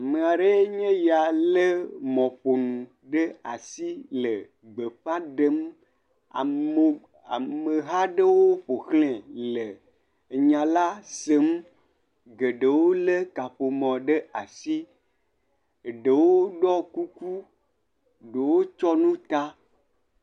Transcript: Ame aɖee nye ya lé mɔƒonu ɖe asi le gbe fã ɖem, ameo..amehã aɖewo ƒoxlae le enya la sẽm, geɖewo lé kaƒomɔ ɖe asi, eɖewo ɖɔ kuku, ɖewo tsyɔ̃ nu ta.